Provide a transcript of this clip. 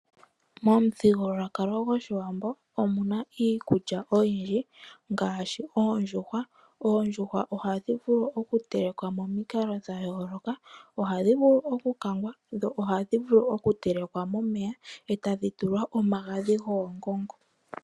Momuthigululwakalo gwoshiwambo omu na iikulya oyindji ngaashi oondjuhwa. Oondjuhwa ohadhi vulu okutelekwa momikalo dhayoloka, ohadhi vulu okukangwa, dho ohadhi vulu okutelekwa momeya etadhi tulwa omagadhi goongongo.